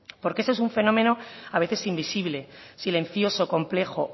porque esto es un fenómeno a veces invisible silencioso complejo